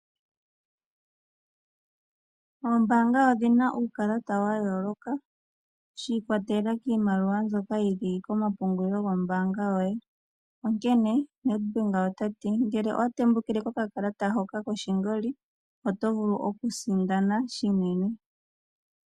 Oombanga odhina uukalata wa yooloka shiikwatelela kiimaliwa ndjoka yili komapungululilo gombanga yoye, onkene NEDBANK otati ngele owatembukile kokalata hoka koshingoli otovulu okusindana shinene.